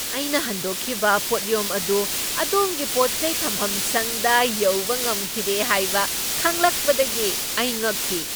ꯑꯩꯅ ꯍꯟꯗꯣꯛꯈꯤꯕ ꯄꯣꯠꯌꯣꯝ ꯑꯗꯨ ꯑꯗꯣꯝꯒꯤ ꯄꯣꯠꯆꯩ ꯊꯝꯐꯝꯁꯪꯗ ꯌꯧꯕ ꯉꯝꯈꯤꯗꯦ ꯍꯥꯏꯕ ꯈꯪꯂꯛꯄꯗꯒꯤ ꯑꯩ ꯉꯛꯈꯤ ꯫